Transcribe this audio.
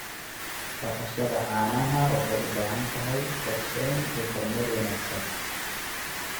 Dhaqashada caanaha waxay u baahan tahay qorshayn iyo kormeer wanaagsan.